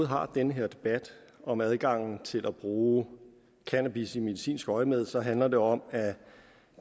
har den her debat om adgangen til at bruge cannabis i medicinsk øjemed handler det om at